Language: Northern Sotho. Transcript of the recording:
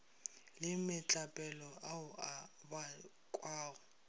le metlapelo ao a bakwago